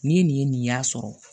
Ni ye nin ye nin y'a sɔrɔ